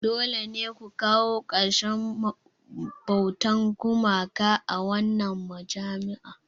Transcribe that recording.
Dole ne ku kawo ƙarshen bautar gumaka a wannan majami'a!